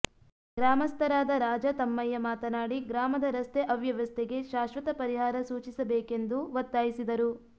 ಗ್ರಾಮಸ್ಥರಾದ ರಾಜಾ ತಮ್ಮಯ್ಯ ಮಾತನಾಡಿ ಗ್ರಾಮದ ರಸ್ತೆ ಅವ್ಯವಸ್ಥೆಗೆ ಶಾಶ್ವತ ಪರಿಹಾರ ಸೂಚಿಸಬೇಕೆಂದು ಒತ್ತಾಯಿಸಿದರು